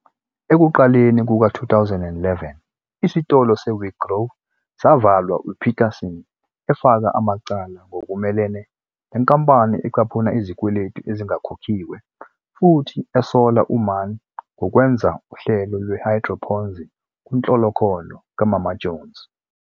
Ekuqaleni kuka-2011, isitolo se-weGrow savalwa, uPeterson efaka amacala ngokumelene nenkampani ecaphuna izikweletu ezingakhokhiwe futhi esola uMann ngokwenza "uhlelo lwe-hydroponzi" kunhlolokhono "kaMama Jones.